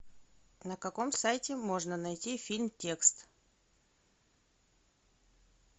на каком сайте можно найти фильм текст